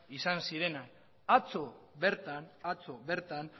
izan zirenak atzo bertan